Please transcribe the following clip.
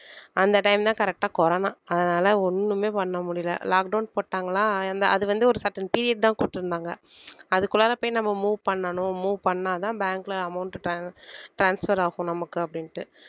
அந்த time தான் correct ஆ corona அதனால ஒண்ணுமே பண்ண முடியலை lockdown போட்டாங்களா அந்த அது வந்து ஒரு certain period தான் கொடுத்திருந்தாங்க அதுக்குள்ளாற போய் நம்ம move பண்ணணும் move பண்ணாதான் bank ல amounttran~ transfer ஆகும் நமக்கு அப்படின்னுட்டு.